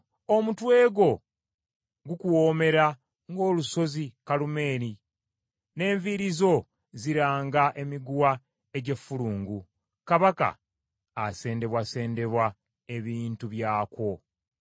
Omutwe gwo gukuwoomera ng’olusozi Kalumeeri, n’enviiri zo ziranga emiguwa egy’effulungu; Kabaka asendebwasendebwa ebintu byakwo.